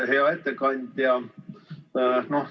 Hea ettekandja!